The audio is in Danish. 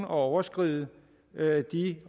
overskride de